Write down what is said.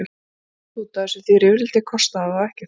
Að rífast út af þessu, því rifrildi kostaði það og ekkert minna.